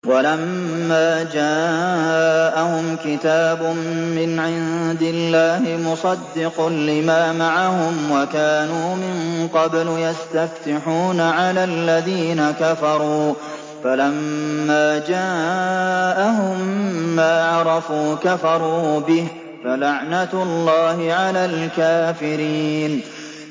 وَلَمَّا جَاءَهُمْ كِتَابٌ مِّنْ عِندِ اللَّهِ مُصَدِّقٌ لِّمَا مَعَهُمْ وَكَانُوا مِن قَبْلُ يَسْتَفْتِحُونَ عَلَى الَّذِينَ كَفَرُوا فَلَمَّا جَاءَهُم مَّا عَرَفُوا كَفَرُوا بِهِ ۚ فَلَعْنَةُ اللَّهِ عَلَى الْكَافِرِينَ